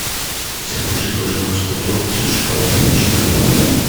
закажи пожалуйста торт с шоколадной начинкой